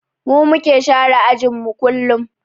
Mu muke share ajinmu kullum